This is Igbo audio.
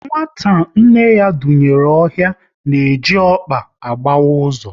Nwata nna ya dunyere ohi na-eji ọkpa agbawa ụzọ